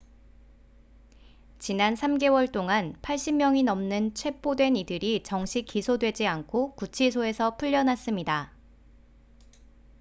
지난 3개월 동안 80명이 넘는 체포된 이들이 정식 기소되지 않고 구치소에서 풀려났습니다